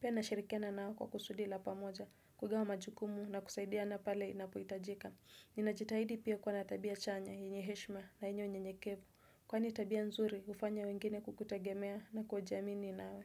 Pia nashirikiana nao kwa kusudi la pamoja, kugawa majukumu na kusaidia na pale inapohitajika. Ninajitahidi pia kuwa na tabia chanya, yenye heshima na yenye unyenyekevu. Kwani tabia nzuri, hufanya wengine kukutegemea na kujiamini nawe.